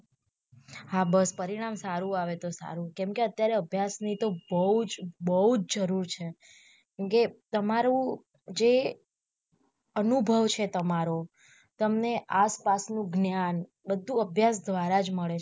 હા બસ પરિણામ સારું આવે તો સારું કેમકે અત્યારે અભ્યાસ ની તો બહુજ બહુજ જરૂર છે કેમકે તમારું જે અનુભવ છે તમારો તમને આસ પાસ નું જ્ઞાન બધું અભ્યાસ દ્વારા જ મળે છે.